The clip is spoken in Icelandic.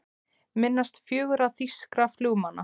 Minnast fjögurra þýskra flugmanna